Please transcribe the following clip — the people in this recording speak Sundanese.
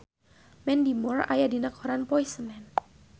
Mandy Moore aya dina koran poe Senen